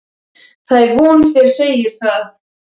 Það er von þér segið það.